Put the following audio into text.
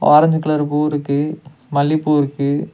Orange colour பூ இருக்கு மல்லிப்பூ இருக்கு.